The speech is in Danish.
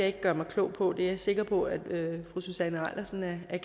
ikke gøre mig klog på det er jeg sikker på at fru susanne eilersen er